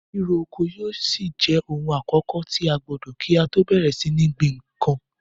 Ríro oko yóò ṣì jẹ ohun àkọ́kọ̀ tí a gbọdọ̀ kí á tọ́ bẹ̀rẹ̀ sí ní gbin nǹkan.